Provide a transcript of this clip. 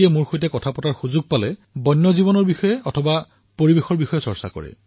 যিয়েই লগ পায় তেওঁৱেই বন্যজীৱনৰ বিষয়ে চৰ্চা কৰে পৰিবেশৰ বিষয়ে আলোচনা কৰে